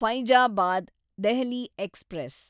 Faizabad Delhi express